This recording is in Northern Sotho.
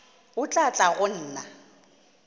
o tla tla go nna